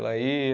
Ela ia